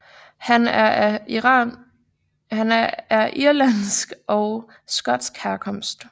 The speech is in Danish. Han er af irlandsk og skotsk herkomst